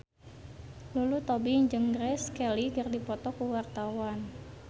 Lulu Tobing jeung Grace Kelly keur dipoto ku wartawan